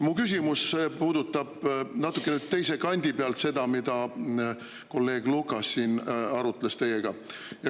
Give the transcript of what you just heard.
Mu küsimus puudutab natukene teise kandi pealt seda, mille üle kolleeg Lukas teiega arutles.